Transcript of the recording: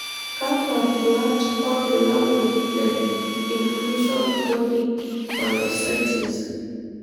Kakwa nduat wobulabul le inclusion body myositis?